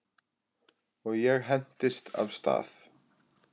Og ég hentist af stað.